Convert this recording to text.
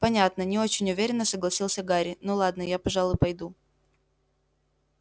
понятно не очень уверенно согласился гарри ну ладно я пожалуй пойду